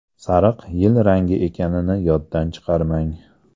Sariq yil rangi ekanini yoddan chiqarmang.